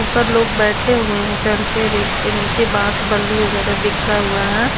ऊपर लोग बैठे हुए है चढ़ के रैक पे नीचे बांस बल्ली वगैरा बिखरा हुआ है।